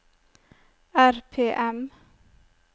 RPM